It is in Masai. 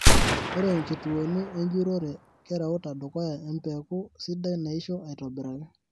Ore nkituoni enjurore kereuta dukuya empeku sidai naisho aitobiraki.